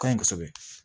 Ka ɲi kosɛbɛ